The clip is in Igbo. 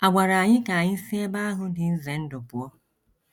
Agwara anyị ka anyị si ebe ahụ dị ize ndụ pụọ.